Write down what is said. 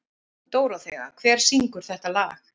Dóróþea, hver syngur þetta lag?